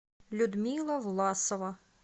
людмила власова